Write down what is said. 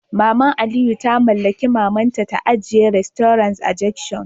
Maman Aliyu ta mallaki Maman ta ajiye restaurant a junction